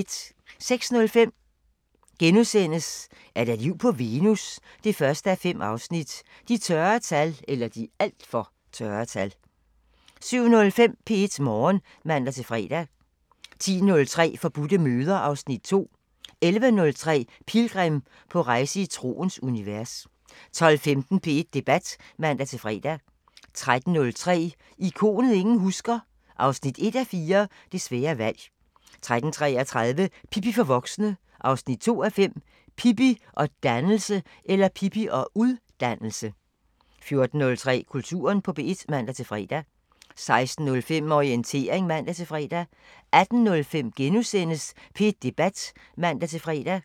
06:05: Er der liv på Venus? 1:5 – De (alt for) tørre tal * 07:05: P1 Morgen (man-fre) 10:03: Forbudte møder (Afs. 2) 11:03: Pilgrim – på rejse i troens univers 12:15: P1 Debat (man-fre) 13:03: Ikonet ingen husker – 1:4 Det svære valg 13:33: Pippi for voksne 2:5 – Pippi og (ud)dannelse 14:03: Kulturen på P1 (man-fre) 16:05: Orientering (man-fre) 18:05: P1 Debat *(man-fre)